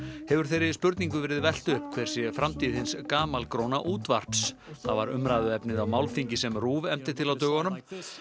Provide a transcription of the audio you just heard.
hefur þeirri spurningu verið velt upp hver sé framtíð hins gamalgróna útvarps það var umræðuefnið á málþingi sem RÚV efndi til á dögunum